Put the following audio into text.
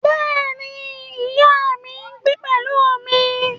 Bẹ́ẹ̀ ni, ìyá mi ń gbé pẹ̀lú mi